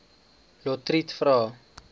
lotriet vra